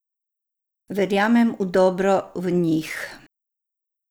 Verjamem v dobro v njih.